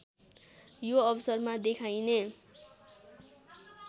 so अवसरमा देखाइने